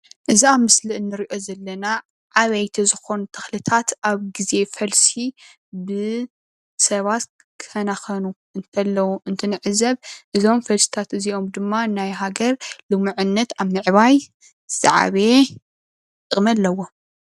እዚ ኣብ ምስሊ ንሪኦ ዘለና ዓበይቲ ዝኾኑ ተኽልታት ኣብ ግዘ ፈልሲ ብሰባት ክከናኸኑ እንከለው እንትንዕዘብ እዞም ፈልስታት እዚኦም ድማ ናይ ሃገር ልሙዕነት ኣብ ምዕባይ ዝዓበየ ጥቅሚ ኣለዎ።